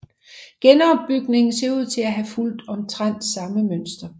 Genopbygningen ser ud til at have fulgt omtrent samme mønster